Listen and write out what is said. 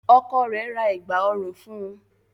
Ọkọ rẹ̀ ra Ẹ̀gbá ọrùn fun